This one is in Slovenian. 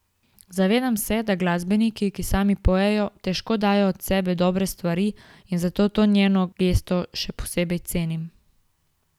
Zavedam se, da glasbeniki, ki sami pojejo, težko dajo od sebe dobre stvari in zato to njeno gesto še posebej cenim.